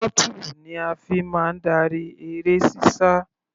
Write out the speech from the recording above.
Throttle ni a fi máa darí eré sísá.